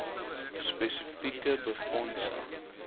spesi eke befondsing